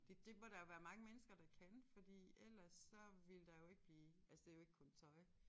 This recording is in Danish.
Det det må der jo være mange mennesker der kan fordi ellers så ville der jo ikke blive altså det jo ikke kun tøj